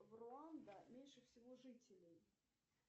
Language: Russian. в руанда меньше всего жителей